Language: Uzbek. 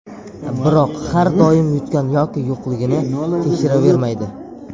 Biroq har doim yutgan yoki yo‘qligini tekshiravermaydi.